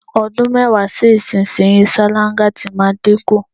O̩dún mé̩wàá sí ìsinyìí, sáláńgá ti máa dínkù.